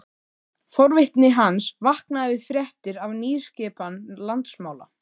Forvitni hans vaknaði við fréttir af nýskipan landsmála.